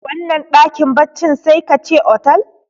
wannan dakin baccin sai ka ce otal